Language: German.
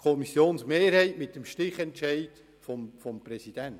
Das kann man jedoch auch anders sehen.